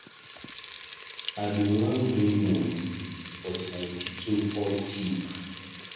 I bin wan bring the money but my pikin fall sick.